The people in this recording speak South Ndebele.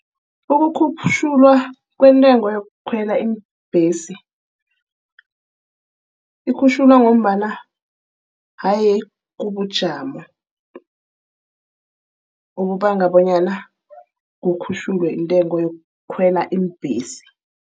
Ukukhutjhulwa kwentengo yokukhwela iimbhesi. Ikhutjhulwa ngombana haye kubujamo obubanga bonyana kukhutjhulwe intengo yokukhwela iimbhesi.